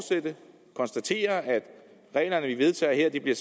konstatere at regler vi vedtager her bliver